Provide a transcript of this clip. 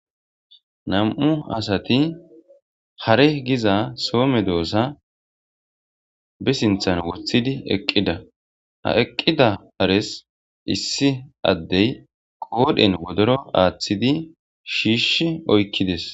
nam7u asati hare giza soome doossa bisinthan wothidi eqqida ha eqqida ares issi addey qoodhen wodoro aaththidi shiish oykkides